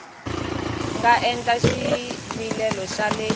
nga endla xivilelo xa le